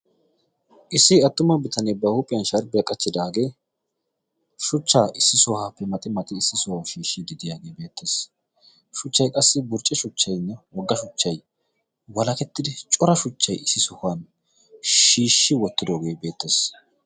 Issi attuma bitanee ba huuphiyan shaaribiya qachchidaagee shuchchaa issi sohaappe maxi maxi issi sohaa shiishshi didiyaagee beettees shuchchai qassi burce shuchchaynne wogga shuchchay walakettidi cora shuchchay issi sohuwan shiishshi wottidoogee beettees.